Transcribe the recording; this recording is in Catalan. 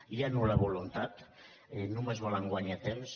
hi ha nul·la voluntat només volen guanyar temps